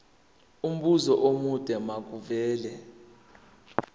umbuzo omude makuvele